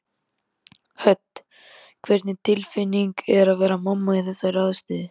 Hödd: Hvernig tilfinning er að vera mamma í þessari aðstöðu?